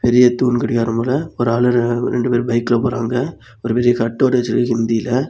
பெரிய தூண் கடிகாரம் போல ஒரு ஆளு ரெண்டு பேரு பைக்ல போறாங்க ஒரு பெரிய கட் அவுட் வெச்சிருக்கு ஹிந்தில .